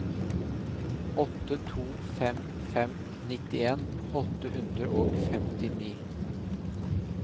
åtte to fem fem nittien åtte hundre og femtini